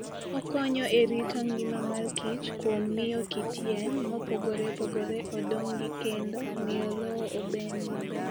Okonyo e rito ngima mar kich kuom miyo kit yien mopogore opogore odongi kendo miyo lowo obed maber